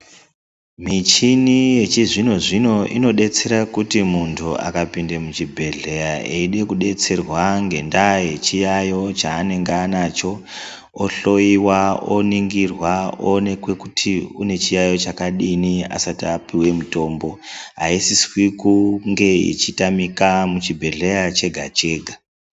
Michini yechizvino zvino inodetsera kuti muntu akapinde muchibhedhleya eide kudetserwa ngendaa yechiyayo chaanenge anacho, ohloyiwa, oningirwa oonekwa kuti une chiyaiyo chakadini asati apuwe mutombo. Haisiswi kuti inge ichitamika muchibhedhleya chega chega.